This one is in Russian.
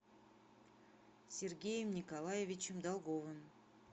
сергеем николаевичем долговым